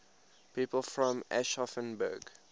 people from aschaffenburg